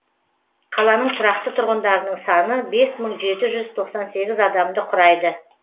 қаланың тұрақты тұрғындарының саны бес мың жеті жүз тоқсан сегіз адамды құрайды